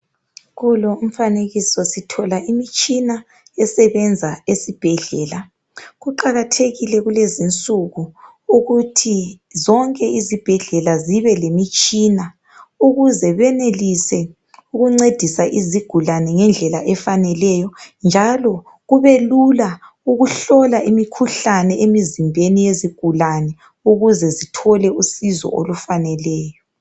Kulo umfanekiso sithola imitshina esebenza esibhedlela. Kuqakathekile kulezinsuku ukuthi zonke izibhedlela zibe lemitshina ukuze benelise ukuncedisa izigulane ngendlela efaneleyo njalo kubelula ukuhlola imikhuhlane emzimbeni yezigulane ukuze bethole usizo olufaneleyo.